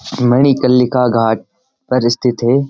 मणि कल्लिका घाट पर स्थित है।